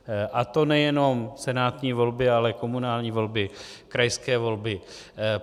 A to nejenom senátní volby, ale komunální volby, krajské volby.